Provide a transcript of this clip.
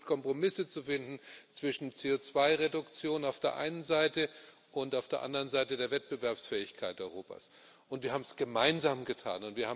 Wir haben versucht, Kompromisse zwischen CO2 Reduktion auf der einen Seite und auf der anderen Seite der Wettbewerbsfähigkeit Europas zu finden, und wir haben es gemeinsamen getan.